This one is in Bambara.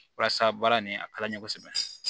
Walasa baara nin a ka di n ye kosɛbɛ